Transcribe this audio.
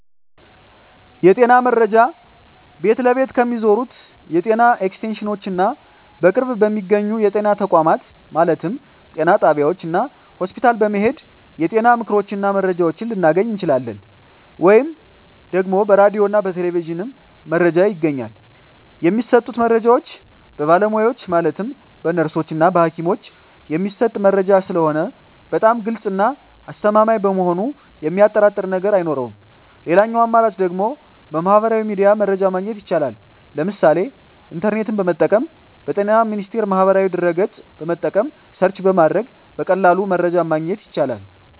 የጤና መረጃ ቤት ለቤት ከሚዞሩት የጤና ኤክስቴንሽኖች እና በቅርብ በሚገኙ የጤና ተቋማት ማለትም ጤና ጣቢያዎች እና ሆስፒታል በመሔድ የጤና ምክሮችን እና መረጃዎችን ልናገኝ እንችላለን። ወይም ደግሞ በራዲዮ እና በቴሌቪዥንም መረጃ ይገኛል። የሚሰጡት መረጃዎች በባለሙያዎች ማለትም በነርሶች እና በሀኪሞች የሚሰጥ መረጂ ስለሆነ በጣም ግልፅ እና አስተማማኝ በመሆኑ የሚያጠራጥር ነገር አይኖረውም ሌላኛው አማራጭ ደግሞ በሚህበራዊ ሚዲያ መረጃ ማግኘት ይቻላል ለምሳሌ ኢንተርኔትን በመጠቀም በጤና ሚኒስቴር ማህበራዊ ድህረ ገፅን በመጠቀም ሰርች በማድረግ በቀላሉ መረጃን ማግኘት ይቻላል።